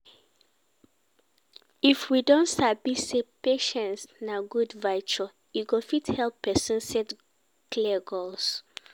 IF we don sabi sey patiience na good virtue, e go fit help person set clear goals